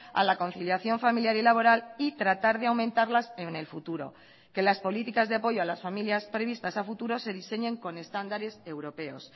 a la conciliación familiar y laboral y tratar de aumentarlas en el futuro que las políticas de apoyo a las familias previstas a futuro se diseñen con estándares europeos